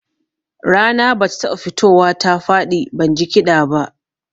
Rana ba ta taɓa fitowa ta faɗi ban ji kiɗa ba